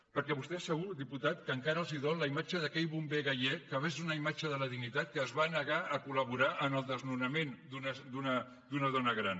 perquè a vostès segur diputat que encara els dol la imatge d’aquell bomber gallec que va ser una imatge de la dignitat que es va negar a col·laborar en el desnonament d’una dona gran